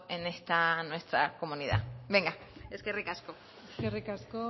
en esta nuestra comunidad venga eskerrik asko eskerrik asko